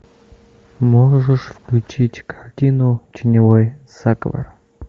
можешь включить картину теневой заговор